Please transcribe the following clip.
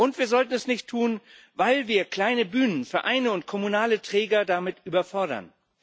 Und wir sollten das nicht tun, weil wir kleine Bühnen, Verein und kommunale Träger damit überfordern.